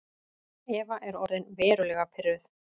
Eva er orðin verulega pirruð.